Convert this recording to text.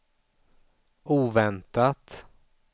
oväntat